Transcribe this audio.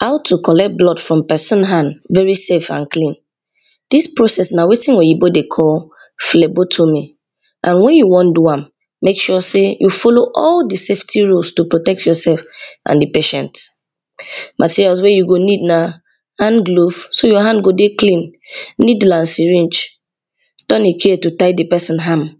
How to collect blood form pesin hand very safe and clean, dis process na wetin oyibo dey call phlebotomy and wen you wan do am make sure sey you follow all di safety rules to protect yourself and di patient. Materials wey you go need na handglove so your hand go dey clean, needle and syringe, turning chain to tie di pesin hand,